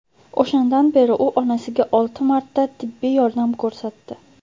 O‘shandan beri u onasiga olti marta tibbiy yordam ko‘rsatdi.